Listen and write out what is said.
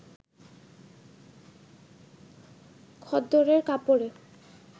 খদ্দরের কাপড়ে